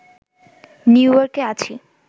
নিউইয়র্কে আছি